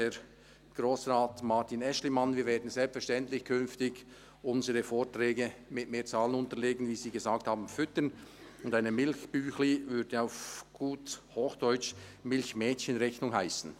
Herr Grossrat Martin Aeschlimann, wir werden künftig selbstverständlich unsere Vorträge mit mehr Zahlen unterlegen, «füttern», wie sie gesagt haben, und eine «Milchbüechli»- würde auf gut Hochdeutsch «Milchmädchen»-Rechnung» heissen.